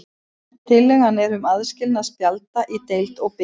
Tillagan er um aðskilnað spjalda í deild og bikar.